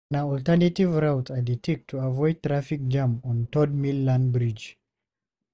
Na alternative routes I dey take to avoid traffic jam on Third Mainland Bridge.